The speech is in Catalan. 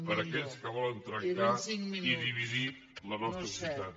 per a aquells que volen trencar i dividir la nostra societat